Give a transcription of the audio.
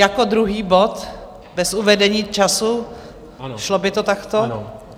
Jako druhý bod bez uvedení času, šlo by to takto?